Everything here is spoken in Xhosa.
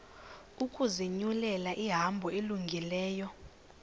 ukuzinyulela ihambo elungileyo